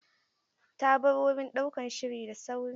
Ta bar wurin ɗaukan shiri da sauri.